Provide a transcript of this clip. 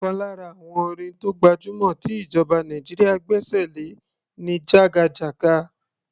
Ọ̀kan lára àwọn orin tó gbajúmọ̀ tí ìjọba Nàìjíríà gbẹ́ṣẹ̀ lé ni "jagajaga".